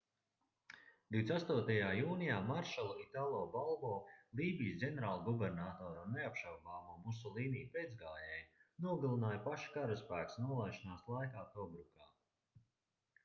28. jūnijā maršalu italo balbo lībijas ģenerālgubernatoru un neapšaubāmo musolīni pēcgājēju nogalināja paša karaspēks nolaišanās laikā tobrukā